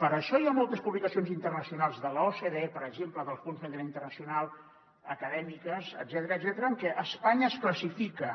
per això hi ha moltes publicacions internacionals de l’ocde per exemple del fons monetari internacional acadèmi·ques etcètera en què espanya es classifica